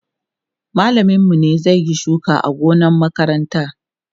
mallamin mu ne zai Yi shuka a gonan makaranta